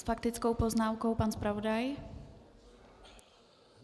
S faktickou poznámkou pan zpravodaj.